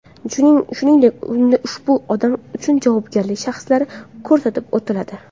Shuningdek, unda ushbu odam uchun javobgar shaxslar ko‘rsatib o‘tiladi.